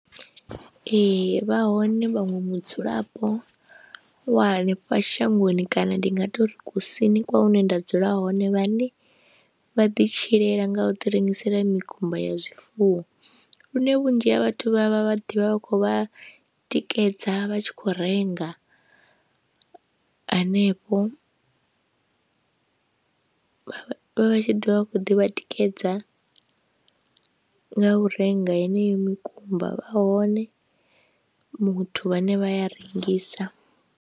Ee vha hone vhaṅwe mudzulapo wa hanefha shangoni kana ndi nga tori kusini kwa hune nda dzula hone vhane vha ḓi tshilela nga u ḓi rengisela mikumba ya zwifuwo, lune vhunzhi ha vhathu vha vha vha ḓivha vha kho vha tikedza vha tshi khou renga hanefho vha tshi ḓi vha khou ḓivha tikedza nga u renga heneyo mikumba vha hone muthu vhane vhaya rengisa.